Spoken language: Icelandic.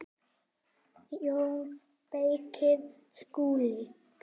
JÓN BEYKIR: Skúli?